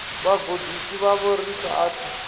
vhagudisi vhavho ri sa athu